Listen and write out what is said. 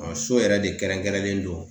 So yɛrɛ de kɛrɛnkɛrɛnlen don